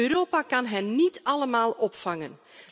Europa kan hen niet allemaal opvangen.